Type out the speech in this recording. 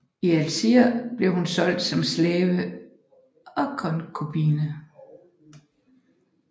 I Alger blev hun solgt som slave og konkubine